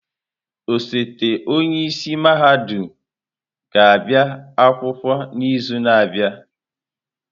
Osote onye isi mahadum ga-abịa akwụkwọ n'izu na-abịa.